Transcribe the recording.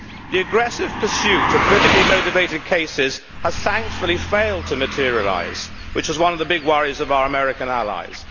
The aggressive pursuit of politically motivated cases has, thankfully, failed to materialise, which was one of the big worries of our American allies.